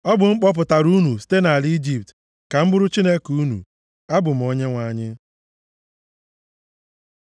Ọ bụ m kpọpụtara unu site nʼala Ijipt ka m bụrụ Chineke unu. Abụ m Onyenwe anyị.”